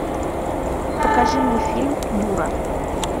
покажи мне фильм дура